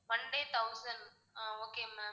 one day thousand ஆஹ் okay ma'am